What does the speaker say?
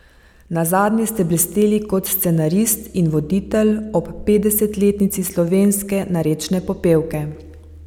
Nazadnje ste blesteli kot scenarist in voditelj ob petdesetletnici slovenske narečne popevke.